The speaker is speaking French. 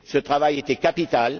Ce travail était capital.